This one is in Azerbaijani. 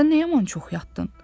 Sən nə yaman çox yatdın?